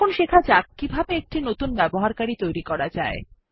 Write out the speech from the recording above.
এখন শেখা যাক কিভাবে একটি নতুন ব্যবহারকারী তৈরী করা যায়